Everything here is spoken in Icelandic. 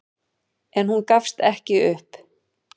En hún gafst ekki upp.